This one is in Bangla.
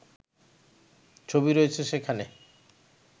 ছবি রয়েছে সেখানে